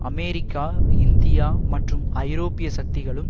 America India மற்றும் ஐரோப்பிய சக்திகளும்